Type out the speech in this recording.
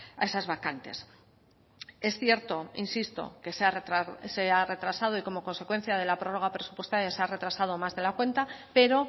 a esas vacantes es cierto insisto que se ha retrasado y como consecuencia de la prórroga presupuestaria se ha retrasado más de la cuenta pero